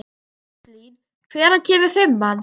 Róslín, hvenær kemur fimman?